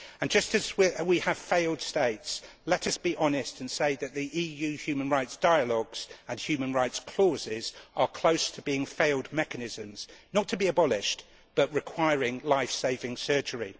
Just as we have failed states, let us be honest and say that the EU human rights dialogues and human rights clauses are close to being failed mechanisms not to be abolished but requiring life saving surgery.